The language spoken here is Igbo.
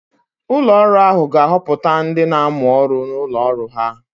Ụlọ ọrụ ahụ ga-ahọpụta ndị na-amụ ọrụ n'ụlọ ọrụ ha.